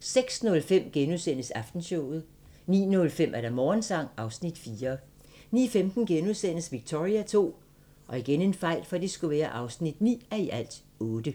06:05: Aftenshowet * 09:05: Morgensang (Afs. 4) 09:15: Victoria II (9:8)*